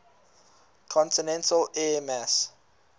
continental air mass